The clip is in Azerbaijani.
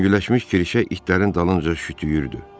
Yüngülləşmiş kirişə itlərin dalınca şütüyürdü.